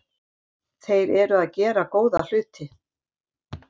Þeir eru að gera góða hluti.